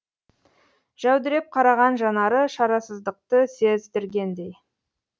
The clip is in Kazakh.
жәудіреп қараған жанары шарасыздықты сездіргендей